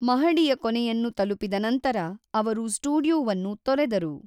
ಮಹಡಿಯ ಕೊನೆಯನ್ನು ತಲುಪಿದ ನಂತರ, ಅವರು ಸ್ಟುಡಿಯೋವನ್ನು ತೊರೆದರು.